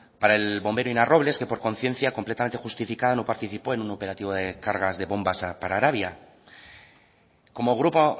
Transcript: para el bombero ina robles que por conciencia completamente justificada no participó en un operativo de cargas de bombas para arabia como grupo